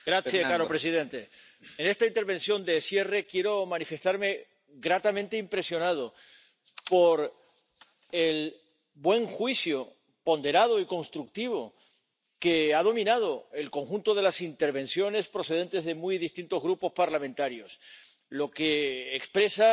Señor presidente, en esta intervención de cierre quiero manifestarme gratamente impresionado por el buen juicio ponderado y constructivo que ha dominado el conjunto de las intervenciones procedentes de muy distintos grupos parlamentarios, lo que expresa